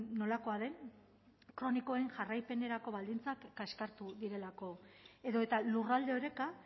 nolakoa den kronikoen jarraipenerako baldintzak kaskartu direlako edota lurralde oreka